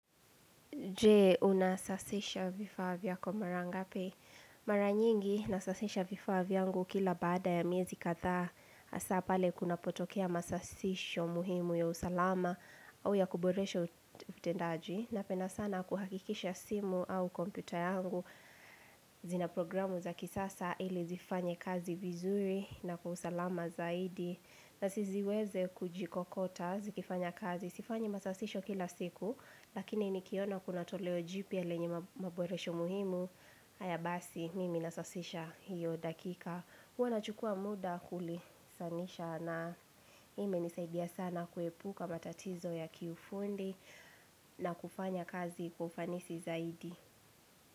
Je unasasisha vifaa vyako mara ngape? Mara nyingi nasasisha vifaa vyangu kila baada ya miezi kadhaa Hasa pale kuna potokea masasisho muhimu ya usalama au ya kuboresha utendaji na penda sana kuhakikisha simu au kompyuta yangu zina programu za kisasa ili zifanye kazi vizuri na kwa usalama zaidi na siziweze kujikokota zikifanya kazi Sifanyi masasisho kila siku Lakini nikiona kuna toleo jipya lenye maboresho muhimu haya basi mimi nasasisha hiyo dakika huwa na chukua muda kuli sanisha na ime nisaidia sana kuepuka matatizo ya kiufundi na kufanya kazi kwa ufanisi zaidi.